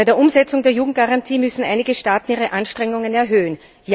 Bei der Umsetzung der Jugendgarantie müssen einige Staaten ihre Anstrengungen erhöhen.